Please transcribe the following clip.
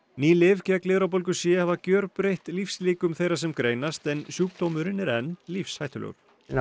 ný lyf gegn lifrarbólgu c hafa gjörbreytt lífslíkum þeirra sem greinast en sjúkdómurinn er enn lífshættulegur